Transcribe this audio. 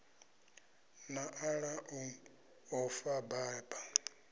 nḓala u ḓo fa baba